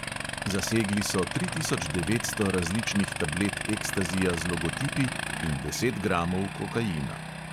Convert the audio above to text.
Zasegli so tri tisoč devetsto različnih tablet ekstazija z logotipi in deset gramov kokaina.